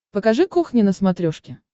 покажи кухня на смотрешке